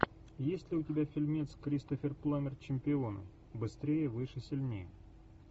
есть ли у тебя фильмец кристофер пламмер чемпионы быстрее выше сильнее